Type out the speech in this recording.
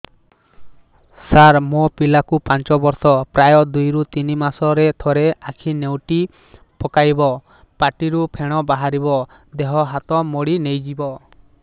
ସାର ମୋ ପିଲା କୁ ପାଞ୍ଚ ବର୍ଷ ପ୍ରାୟ ଦୁଇରୁ ତିନି ମାସ ରେ ଥରେ ଆଖି ନେଉଟି ପକାଇବ ପାଟିରୁ ଫେଣ ବାହାରିବ ଦେହ ହାତ ମୋଡି ନେଇଯିବ